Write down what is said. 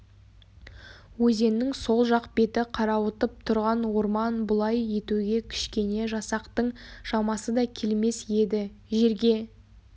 өзеннің сол жақ беті қарауытып тұрған орман бұлай етуге кішкене жасақтың шамасы да келмес еді жерге